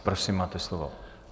Prosím, máte slovo.